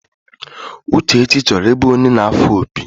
Uchechi choro ibu onye na afo opi.